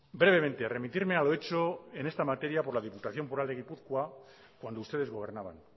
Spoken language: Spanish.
brevemente remitirme a lo hecho en esta materia por la diputación foral de gipuzkoa cuando ustedes gobernaban